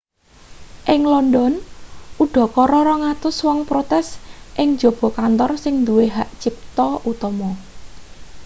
ing london udakara 200 wong protes ing njaba kantor sing nduwe hak cipta utama